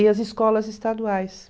e as escolas estaduais.